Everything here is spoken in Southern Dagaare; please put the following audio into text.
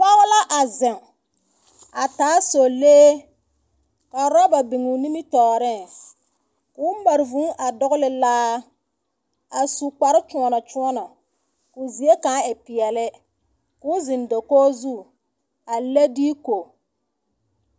Pɔgɔ la a zeŋ, a taa sɔlee, ka roba biŋ o nimitɔɔrɛs. Koo mare vūū a dɔgle laa, a su kparkyoɔmokyoɔmo, koo zie kaŋ e peɛle, koo zeŋ dakog zu, a le deko.